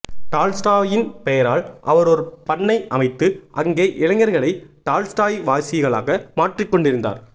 டால்ஸ்டாயின் பெயரால் அவர் ஒரு பண்ணை அமைத்து அங்கே இளைஞர்களை டால்ஸ்டாய்வாசிகளாக மாற்றிக் கொண்டிருந்தார்